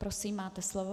Prosím, máte slovo.